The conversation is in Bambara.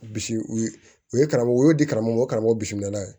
Bisi u ye u ye karamɔgɔ u y'o di karamɔgɔ o karamɔgɔ bisimila ye